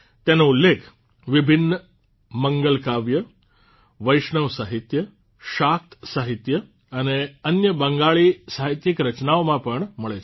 તેનો ઉલ્લેખ વિભિન્ન મંગલકાવ્ય વૈષ્ણવ સાહિત્ય શાક્ત સાહિત્ય અને અન્ય બંગાળી સાહિત્યિક રચનાઓમાં પણ મળે છે